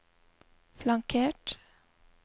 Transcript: flankert